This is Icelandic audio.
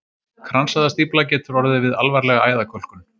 Kransæðastífla getur orðið við alvarlega æðakölkun.